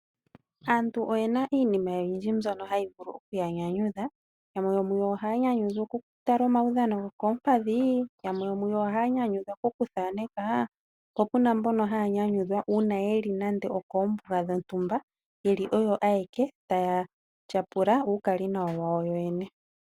Aantu oyena iinima oyindji ndjoka hayi vulu okuya nyanyudha, yamwe ohaa nyanyudhwa okutala uudhano woko ompadhi, yamwe ohaanyanyukwa kokuthaaneka po puna mboka haanyanyukwa uuna yeli koombunga dhontumba yeli oyo ayeke taatyapula uukali nawa wayo yene.